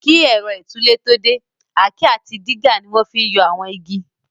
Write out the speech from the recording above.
Kí ẹ̀rọ ìtúlẹ̀ tó dé, àáké àti dígà ni wọ́n fi n yọ àwọn igi